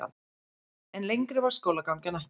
En lengri varð skólagangan ekki.